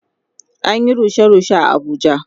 An Yi rushe rushe a Abuja